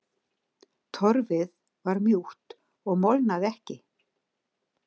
Torfið var mjúkt og molnaði ekki.